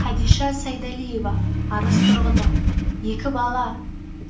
қадиша сайдалиева арыс тұрғыны екі бала